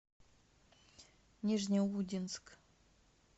нижнеудинск